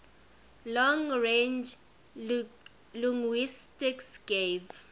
long range linguistics gave